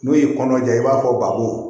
N'u y'i kɔnɔ ja i b'a fɔ bako